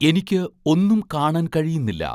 എനിക്ക് ഒന്നും കാണാൻ കഴിയുന്നില്ല